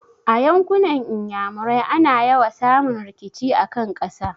A yankunan Iyamurai ana yawa samun rikici a kan ƙasa.